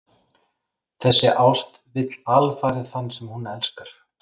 Þessi ást vill alfarið þann sem hún elskar.